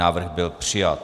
Návrh byl přijat.